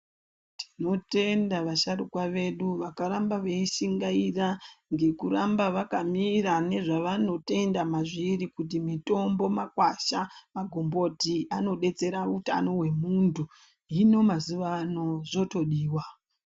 Tinotenda vasharukwa vedu vakaramba veishingaira ngekuramba vakamira ngezvevanotenda mazviri kuti mitombo magwasha magomboti anodetsera utano hwemunthu, hino mazuwa ano zvotodiwa.